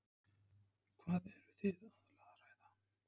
Magnús Hlynur: Hvað eru þið aðallega að ræða?